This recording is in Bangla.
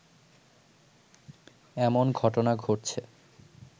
এমন ঘটনা ঘটছে